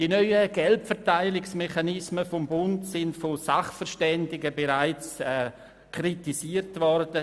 Die neuen Geldverteilungsmechanismen des Bundes sind von Sachverständigen bereits kritisiert worden.